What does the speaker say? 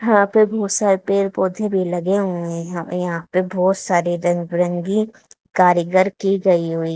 यहां पर बहुत सारे पेड़ पौधे भीं लगे हुए हैं यहां पर यहां पर बहुत सारे रंग बिरंगी कारीगर की गई हुई --